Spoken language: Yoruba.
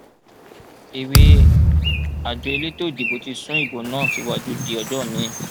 èwe àjọ elétò ìdìbò ti sún ìbò náà síwájú di ọjọ miín